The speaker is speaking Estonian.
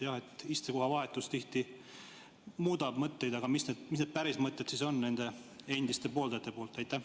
Jah, istekoha vahetus tihti muudab mõtteid, aga mis need päris mõtted siis on nendel endistel pooldajatel?